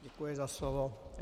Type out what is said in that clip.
Děkuji za slovo.